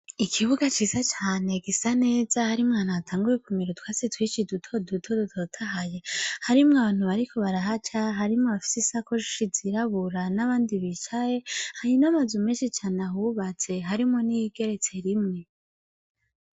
Ikibuga ciza cane gisa neza harimwo ahantu hatanguye kumera utwatsi twinshi duto duto dutotahaye, harimwo abantu bariko barahaca, harimwo abafise isakoshi zirabura, n'abandi bicaye, hari n'amazu menshi cane ahubatse, harimwo n'iyigeretse rimwe.